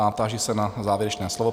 A táži se na závěrečné slovo.